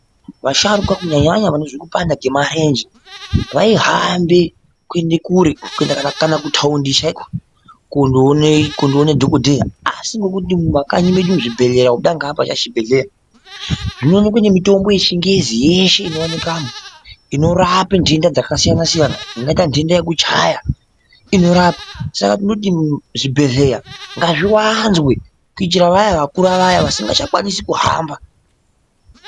Vasharukwa kunyanya nyanya vanozwa kupanda kwemarenje vaihambi kuende kure kuenda kana kana kutaundi chaiko kondoone kondoone dhokodheya asi ngokuti mumakanyi medu zvibhedhleya kubuda ngeapa chaachibhedhleya zvinooneka ngemitombo yechingezi yeshe inowanikwamo inorapa nhenda dzakasiyana siyana dzingaita nhenda dzekuchaya inorapa saka tinoti zvibhedheya ngazviwanzwe kuitira vaya vakura vaya vasingachakwanisi kuhamba.